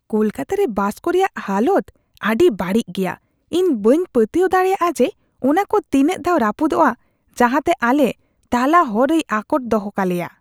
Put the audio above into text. ᱠᱟᱞᱟᱠᱛᱚᱠᱛᱚ ᱨᱮ ᱵᱟᱥ ᱠᱚ ᱨᱮᱭᱟᱜ ᱦᱟᱞᱚᱛ ᱟᱹᱰᱤ ᱵᱟᱹᱲᱤᱡ ᱜᱮᱭᱟ ᱾ ᱤᱧ ᱵᱟᱹᱧ ᱯᱟᱹᱛᱭᱟᱹᱣ ᱫᱟᱲᱮᱭᱟᱜᱼᱟ ᱡᱮ, ᱚᱱᱟ ᱠᱚ ᱛᱤᱱᱟᱜ ᱫᱷᱟᱣ ᱨᱟᱹᱯᱩᱫᱚᱜᱼᱟ, ᱡᱟᱦᱟᱸᱛᱮ ᱟᱞᱮ ᱛᱟᱞᱟ ᱦᱚᱨ ᱨᱮᱭ ᱟᱠᱚᱴ ᱫᱚᱦᱚ ᱠᱟᱞᱮᱭᱟ ᱾